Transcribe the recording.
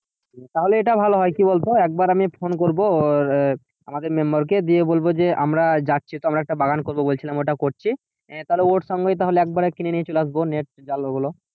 তাহলে এটা ভালো হয় কি বল তো একবার আমি ফোন করবো আমাদের member কে দিয়ে বলবো যে আমরা যাচ্ছি আমরা একটা বাগান করবো বলছিলাম ওটা করেছি তাহলে ওর সঙ্গেই তাহলে একবারে কিনে নিয়ে চলে আসবো net জাল ওগুলো।